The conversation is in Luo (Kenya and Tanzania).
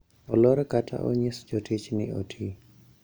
Olor kata onyis jotich ni oti